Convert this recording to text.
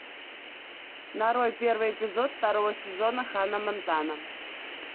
нарой первый эпизод второго сезона ханна монтана